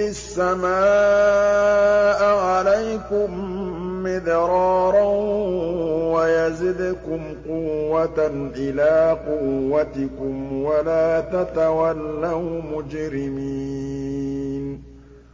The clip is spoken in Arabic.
السَّمَاءَ عَلَيْكُم مِّدْرَارًا وَيَزِدْكُمْ قُوَّةً إِلَىٰ قُوَّتِكُمْ وَلَا تَتَوَلَّوْا مُجْرِمِينَ